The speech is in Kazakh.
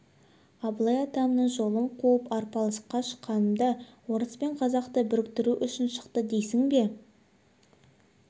абылай атамның жолын қуып арпалысқа шыққанымда орыс пен қазақты біріктіру үшін шықты дейсің бе